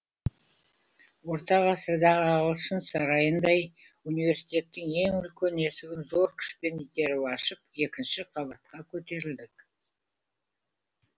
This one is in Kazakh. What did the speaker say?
орта ғасырдағы ағылшын сарайындай университеттің үлкен есігін зор күшпен итеріп ашып екінші қабатқа көтерілдік